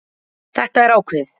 Þetta er ákveðið.